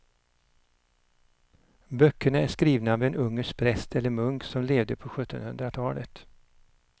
Böckerna är skrivna av en ungersk präst eller munk som levde på sjuttonhundratalet.